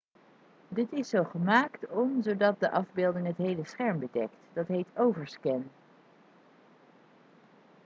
dit is zo gemaakt om zodat de afbeelding het hele scherm bedekt dat heet overscan